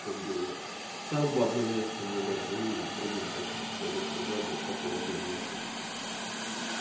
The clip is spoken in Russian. как бы сам в одно место не лезу и другим как бы не советую даже по поводу внешности